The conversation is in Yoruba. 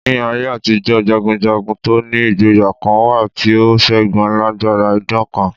Ní aye àtijọ́, jagunjagun to ni ìgboyà kan wà tí ó ṣẹ́gun alágbára idán kan.